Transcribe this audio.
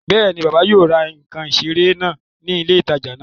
Bẹ́ẹ̀ni, bàbá yóò ra ǹkan ìseré náà ní ilé ìtajà náà